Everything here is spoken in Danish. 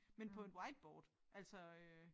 Men på et whiteboard altså øh